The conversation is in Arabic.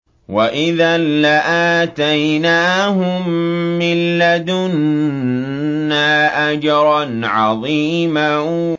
وَإِذًا لَّآتَيْنَاهُم مِّن لَّدُنَّا أَجْرًا عَظِيمًا